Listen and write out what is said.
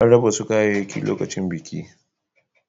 An raba wasu kayayyaki lokacin bikin.